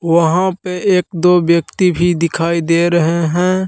वहा पे एक दो व्यक्ति दिखाई दे रहे है।